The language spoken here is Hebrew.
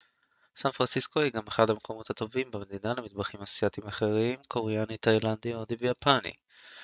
סן פרנסיסקו היא גם אחד המקומות הטובים במדינה למטבחים אסייתיים אחרים קוריאני תאילנדי הודי ויפני